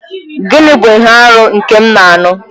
Gịnị bụ ihe arụ nke m na-anụ?